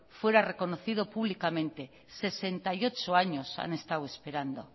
fuera reconocido públicamente sesenta y ocho años han estado esperando